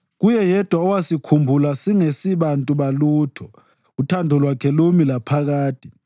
Kuye Yedwa owasikhumbula singesibantu balutho, uthando lwakhe lumi laphakade.